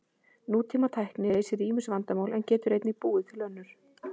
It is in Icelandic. Nútímatækni leysir ýmis vandamál en getur einnig búið til önnur.